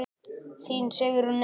Þín Sigrún Eva.